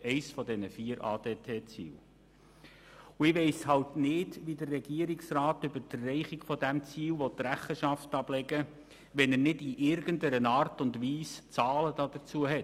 Und ich weiss nicht, wie der Regierungsrat über die Erreichung dieses Ziels Rechenschaft ablegen will, wenn er nicht in irgendeiner Art und Weise Zahlen dazu hat.